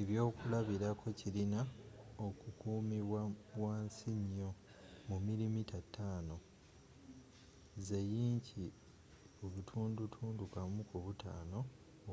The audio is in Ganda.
ekyokulabirako kirina okukumibwa wansi nnyo mu mm 5 1/5 inch